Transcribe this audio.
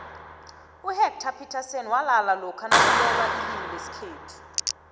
uhectarr phithasini nalala lokha nakulwelwailimulesikhethu